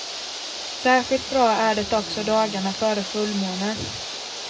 Särskilt bra är det också dagarna före fullmåne.